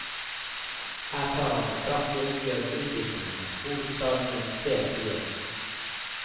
Her tar han et kraftig oppgjør med utviklingen av hovedstaden gjennom flere tiår.